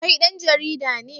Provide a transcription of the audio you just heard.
Kai dan jarida ne?